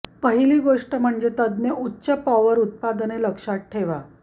पहिली गोष्ट म्हणजे तज्ञ उच्च पॉवर उत्पादने लक्षात ठेवा